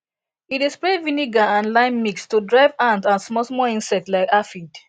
e dey spray vinegar and and lime mix to drive ant and smallsmall insect like aphid